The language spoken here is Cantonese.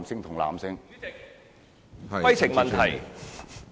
主席，規程問題。